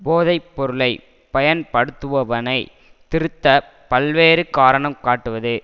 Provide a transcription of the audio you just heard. போதை பொருளை பயன்படுத்துபவனைத் திருத்தப் பல்வேறு காரணம் காட்டுவது